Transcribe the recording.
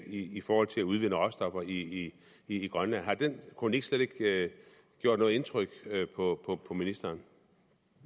i forhold til at udvinde råstoffer i i grønland har den kronik slet ikke gjort noget indtryk på på ministeren